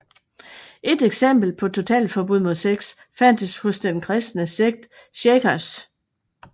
Et eksempel på totalforbud mod sex fandtes hos den kristne sekt shakers